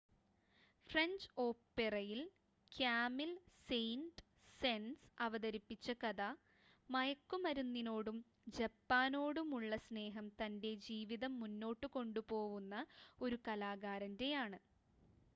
"French ഓപെറയിൽ Camille Saint -Saens അവതരിപ്പിച്ച കഥ "മയക്കുമരുന്നിനോടും ജപ്പാനോടുമുള്ള സ്നേഹം തന്റെ ജീവിതം മുന്നോട്ട് കൊണ്ടുപോവുന്ന" ഒരു കലാകാരന്റെ ആണ്.